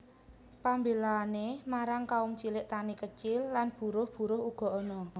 Pembelaane marang kaum cilik tani kecil lan buruh buruh uga ana